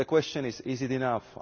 But the question is, is it enough?